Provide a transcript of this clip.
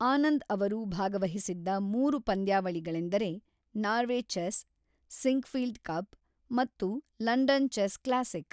ಆನಂದ್ ಅವರು ಭಾಗವಹಿಸಿದ್ದ ಮೂರು ಪಂದ್ಯಾವಳಿಗಳೆಂದರೆ ನಾರ್ವೆ ಚೆಸ್, ಸಿಂಕ್ಫೀಲ್ಡ್ ಕಪ್ ಮತ್ತು ಲಂಡನ್ ಚೆಸ್ ಕ್ಲಾಸಿಕ್.